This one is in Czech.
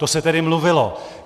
To se tedy mluvilo.